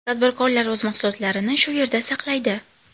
Tadbirkorlar o‘z mahsulotlarini shu yerda saqlaydi.